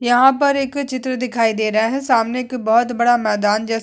यहाँ पर एक चित्र दिखाई दे रहा है सामने एक बहोत बड़ा मैदान जैसा --